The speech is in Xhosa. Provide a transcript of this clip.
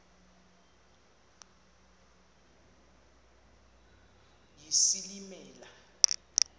yesilimela